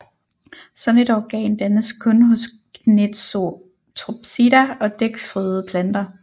Sådan et organ dannes kun hos Gnetopsida og dækfrøede planter